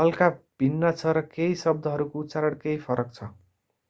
हल्का भिन्न छ र केही शब्दहरूको उच्चारण केही फरक छ